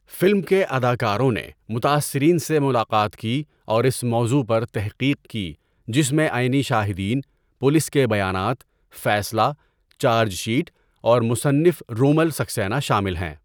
Film کے اداکاروں نے متاثرین سے ملاقات کی اور اس موضوع پر تحقیق کی جس میں عینی شاہدین، پولیس کے بیانات، فیصلہ، چارج شیٹ اور مصنف رومل سکسینہ شامل ہیں۔